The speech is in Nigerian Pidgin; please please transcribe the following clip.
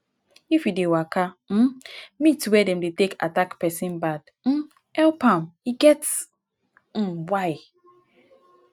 if you dey waka um meet where dem dey attack pesin bad um help am e get um why